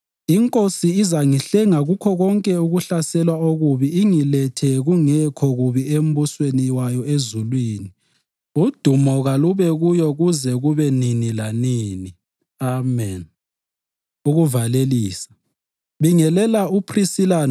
INkosi izangihlenga kukho konke ukuhlaselwa okubi ingilethe kungekho bubi embusweni wayo wasezulwini. Udumo kalube kuyo kuze kube nini lanini. Ameni. Ukuvalelisa